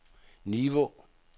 Nivå